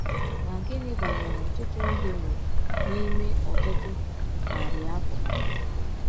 Ma gịnị banyere ọtụtụ ndị nwụrụ n’ime ọtụtụ narị afọ?